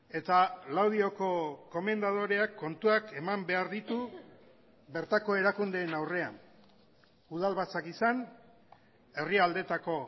eta laudioko komendadoreak kontuak eman behar ditu bertako erakundeen aurrean udalbatzak izan herri aldetako